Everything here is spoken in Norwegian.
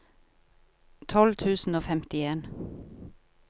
tolv tusen og femtien